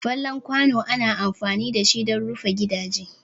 Fallen kwano ana amfani dashi dan rufin gidaje.